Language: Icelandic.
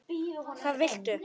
Hvað viltu?